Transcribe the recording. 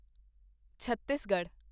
Chhattisgarh